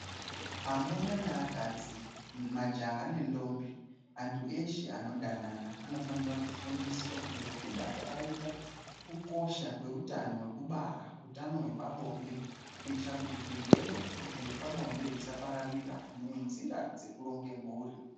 Amuna neakadzi majaha nendombi antu eshe anodanana anofanira kufundiswa ngekuda kwakaita Kukosha kweutano hwekubara hutano hwepabonde kuitira kuti zvirwere zvepabonde zvisapararira nenzira dzekuronga mhuri.